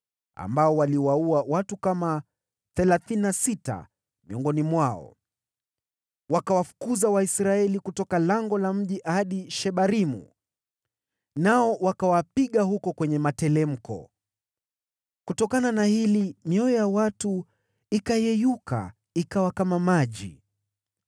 ambao waliwaua watu kama thelathini na sita miongoni mwao. Wakawafukuza Waisraeli kutoka lango la mji hadi Shebarimu, nao wakawauwa huko kwenye materemko. Kutokana na hili mioyo ya watu ikayeyuka ikawa kama maji.